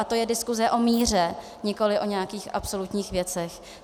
A to je diskuse o míře, nikoli o nějakých absolutních věcech.